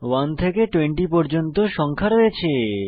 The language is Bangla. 1 থেকে 20 পর্যন্ত সংখ্যা রয়েছে